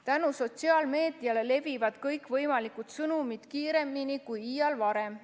Tänu sotsiaalmeediale levivad kõikvõimalikud sõnumid kiiremini kui iial varem.